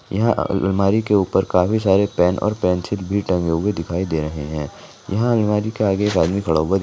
यहां अलमारी के ऊपर काफ़ी सारे पेन पेंसिल टागें दिखाई दे रहे है यहां अलमारी का अन्य भाग भी पड़ा हुआ है।